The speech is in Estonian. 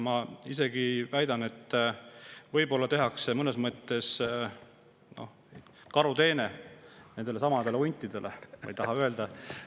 Ma isegi väidan, et võib-olla tehakse huntidele mõnes mõttes karuteene.